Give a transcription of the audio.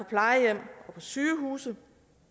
sygehuse